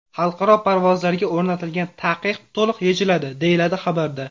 Xalqaro parvozlarga o‘rnatilgan taqiq to‘liq yechiladi”, deyiladi xabarda.